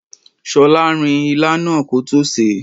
ṣolarin ilá náà kótó sèé.